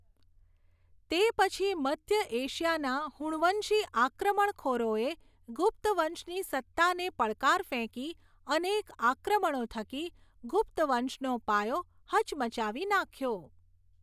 તે પછી મધ્ય એશિયાના હુણવંશી આક્રમણખોરોએ ગુપ્તવંશની સત્તાને પડકાર ફેંકી અનેક આક્રમણો થકી ગુપ્તવંશનો પાયો હચમચાવી નાખ્યો.